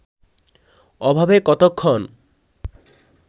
ওভাবে কতক্ষণ